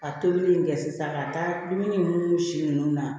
Ka tobili in kɛ sisan ka taa dumuni nunnu si nunnu na